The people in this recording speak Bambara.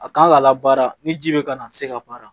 A kan ka labaara ni ji bɛ ka na a tɛ se ka baara